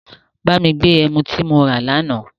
Bá mi gbé ẹmu tí mo rà l'àná